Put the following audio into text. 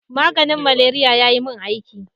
Maganin malaria ya yi mun aiki.